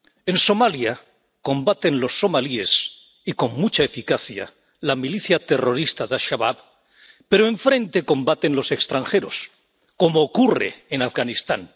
En Somalia combaten los somalíes y, con mucha eficacia, la milicia terrorista de Al Shabab, pero enfrente combaten los extranjeros, como ocurre en Afganistán.